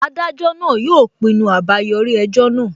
Adájọ náà yóò pinnu àbáyọrí ẹjọ́ náà